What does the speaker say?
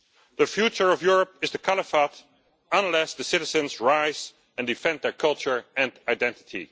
The future of Europe is the caliphate, unless the citizens rise and defend their culture and identity.